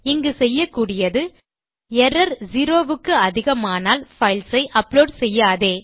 இங்கு செய்யக்கூடியது error zero க்கு அதிகமானால் பைல்ஸ் ஐ அப்லோட் செய்யாதே